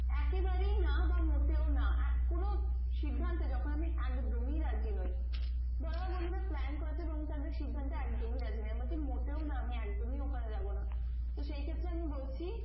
একে বারেই না বা মোটেও না কোনো সিদ্ধান্তে যখন আমি একদমই রাজি নয় ধরো বন্ধুরা plane করেছে এবং তাদের সিদ্ধান্তে একদমই রাজি না মোটেও না আমি একদমই ওখানে যাবোনা তো সেই ক্ষেত্রে আমি বলছি